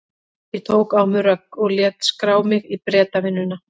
Ég tók á mig rögg og lét skrá mig í Bretavinnuna.